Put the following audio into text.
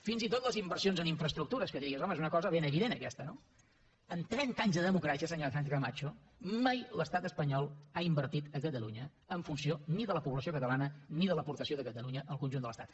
fins i tot les inversions en infraestructures que diries home és una cosa ben evident aquesta no en trenta anys de democràcia senyora sánchez camacho mai l’estat espanyol ha invertit a catalunya en funció ni de la població catalana ni de l’aportació de catalunya al conjunt de l’estat